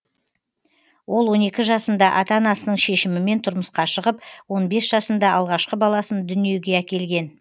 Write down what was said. ол он екі жасында ата анасының шешімімен тұрмысқа шығып он бес жасында алғашқы баласын дүниеге әкелген